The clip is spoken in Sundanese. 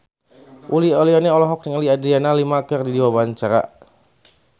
Uli Auliani olohok ningali Adriana Lima keur diwawancara